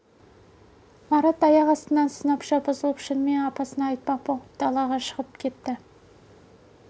марат аяқ астынан сынапша бұзылып шынымен апасына айтпақ боп далаға шығып кетті